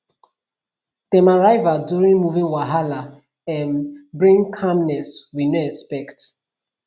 dem arrival during moving wahala um bring calmness we no expect